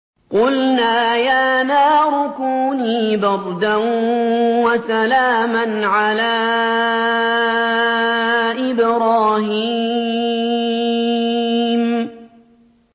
قُلْنَا يَا نَارُ كُونِي بَرْدًا وَسَلَامًا عَلَىٰ إِبْرَاهِيمَ